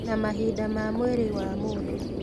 Na mahĩndĩ ma mwĩrĩ wa mũndũ